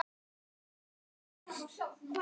Hver á tunglið?